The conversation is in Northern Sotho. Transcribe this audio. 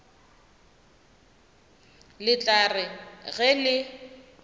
le tla re ge le